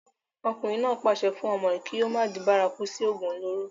ọkùnrin náà pàṣẹ fún ọmọ rẹ̀ kí ó má di bárakú sí ògùn olóró